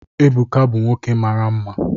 Ebuka bụ nwoke mara nma